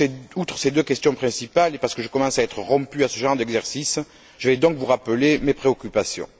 Outre ces deux questions principales, et parce que je commence à être rompu à ce genre d'exercice, je vais donc vous rappeler mes préoccupations.